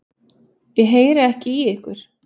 Ég heyri ekki í ykkur.